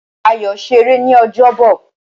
Ayo ṣeré ní ọjọ́bọ̀.